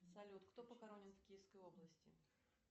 салют кто похоронен в киевской области